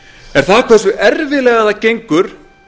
er það hversu erfiðlega það gengur